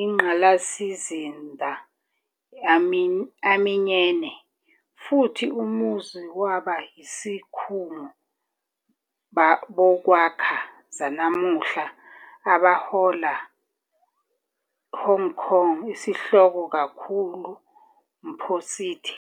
ingqalasizinda aminyene, futhi umuzi waba isikhungo bokwakha zanamuhla, abahola Hong Kong isihloko kakhulu mpo city.